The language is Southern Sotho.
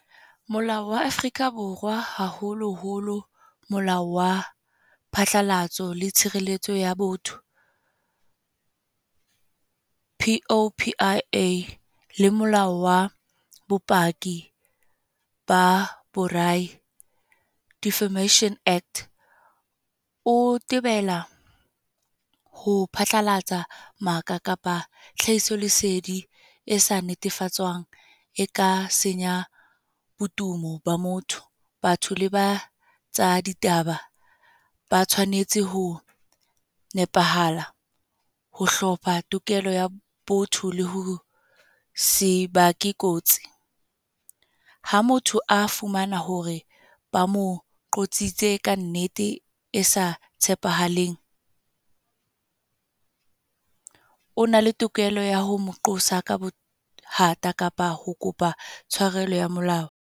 Molao wa Afrika Borwa. Haholo holo Molao wa Phatlalatso le Tshireletso ya Botho P_O_P_I_A. Le molao wa bopaki ba Defamation Act. O tebela ho phatlalatsa maka kapa tlhahiso lesedi esa netefatsoang, e ka senya podumo ba motho. Batho le ba tsa ditaba ba tshwanetse ho nepahala, ho hlopha tokelo ya botho le ho sebake kotsi. Ha motho a fumana hore ba mo qotsitse ka nnete e sa tshepahaleng. O na le tokelo ya ho mo qosa ka bothata, kapa ho kopa tshwarelo ya molao.